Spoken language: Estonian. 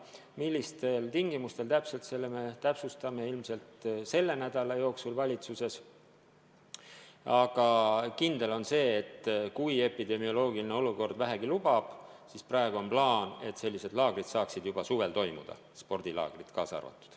Millistel tingimustel, selle me täpsustame ilmselt selle nädala jooksul valitsuses, aga kindel on see, et kui epidemioloogiline olukord vähegi lubab, siis praeguse plaani kohaselt sellised laagrid saavad juba suvel toimuda, spordilaagrid kaasa arvatud.